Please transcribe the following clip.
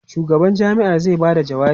shugaban jami'ar zai Bada jawabi